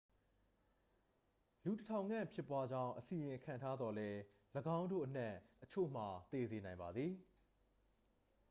လူတစ်ထောင်ခန့် ဖြစ်ပွားကြောင်း အစီရင်ခံထားသော်လည်း ၎င်းတို့အနက်အချို့မှာ သေစေနိုင်ပါသည်